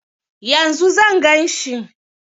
Yanzu zan gan shi?